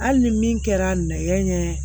Hali ni min kɛra nɛ ye